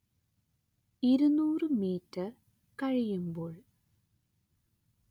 ഇരുനൂറ്‌ മീറ്റർ കഴിയുമ്പോൾ